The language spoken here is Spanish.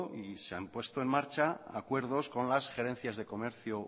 y se han puesto en marcha acuerdos con las gerencias de comercio